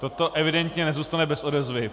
Toto evidentně nezůstane bez odezvy.